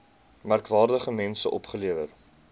merkwaardige mense opgelewer